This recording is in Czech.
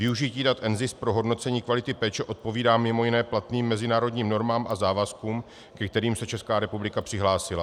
Využití dat NZIS pro hodnocení kvality péče odpovídá mimo jiné platným mezinárodním normám a závazkům, ke kterým se Česká republika přihlásila.